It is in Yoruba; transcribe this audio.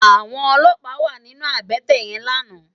Àwòn ólópá wà sinú àbètè yèn làná